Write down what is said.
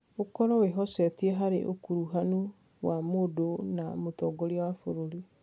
ũkorũo wĩhocetie harĩ ũkuruhanu wa mũndũ na Mũtongoria wa bũrũri.